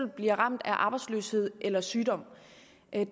bliver ramt af arbejdsløshed eller sygdom